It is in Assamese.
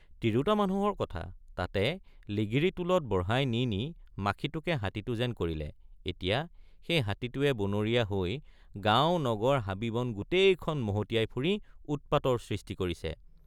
তিৰোতাৰ মানুহৰ কথা তাকে লিগিৰী টোলত বঢ়াই নি নি মাখিটোকে হাতীটো যেন কৰিলে এতিয়া সেই হাতীটোৱে বনৰীয়া হৈ গাঁও নগৰ হাবি বন গোটেইখন মহটিয়াই ফুৰি উৎপাতৰ সৃষ্টি কৰিছে।